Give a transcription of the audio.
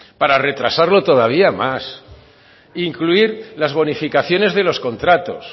para retrasarlo todavía más e incluir las bonificaciones de los contratos